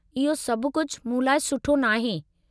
इहो सभु कुझु मूं लाइ सुठो नाहे।